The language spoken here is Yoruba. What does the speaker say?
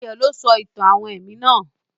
Ayó lo sọ àwon ìtàn èmí náà